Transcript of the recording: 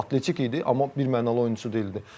Atletik idi, amma birmənalı oyunçusu deyildi.